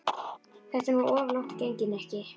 Þetta er nú of langt gengið, Nikki.